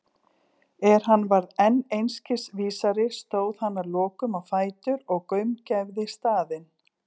Er hann varð enn einskis vísari stóð hann að lokum á fætur og gaumgæfði staðinn.